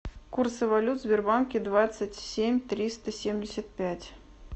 курсы валют в сбербанке двадцать семь триста семьдесят пять